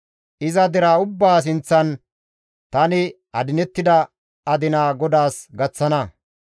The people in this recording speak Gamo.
Iza deraa ubbaa sinththan tani adinettida adina GODAAS gaththana.